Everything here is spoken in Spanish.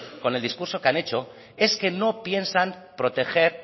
con el discurso que han hecho es que no piensan proteger